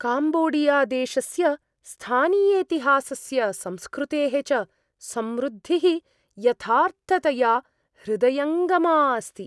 काम्बोडियादेशस्य स्थानीयेतिहासस्य, संस्कृतेः च समृद्धिः यथार्थतया हृदयङ्गमा अस्ति।